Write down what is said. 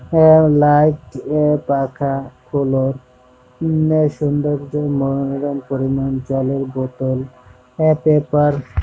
আঃ এবং লাইট এবং পাখা পরিমাণ জলের বোতল ও পেপার--